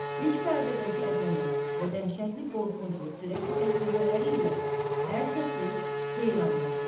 İlk pərdədəki əzəmət və dəhşətli qorxunc və sürəkli qəhqəhələri ilə hər kəsi heyran buraxır.